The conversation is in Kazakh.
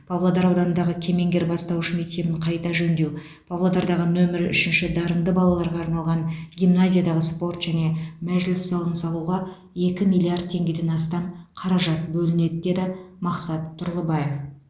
павлодар ауданындағы кемеңгер бастауыш мектебін қайта жөндеу павлодардағы нөмірі үшінші дарынды балаларға арналған гимназиядағы спорт және мәжіліс залын салуға екі миллиард теңгеден астам қаражат бөлінеді деді мақсат тұрлыбаев